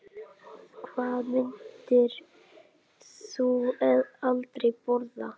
Hvað myndir þú aldrei borða?